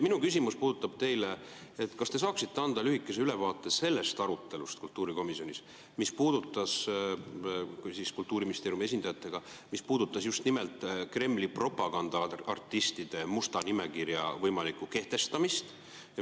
Minu küsimus teile puudutab seda, kas te saaksite anda lühikese ülevaate sellest arutelust kultuurikomisjonis Kultuuriministeeriumi esindajatega, mis puudutas just nimelt Kremli propagandaartistide musta nimekirja võimalikku kehtestamist.